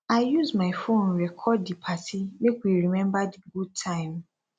i dey use my phone record di party make we remember di good time